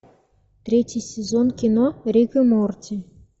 третий сезон кино рик и морти